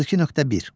32.1.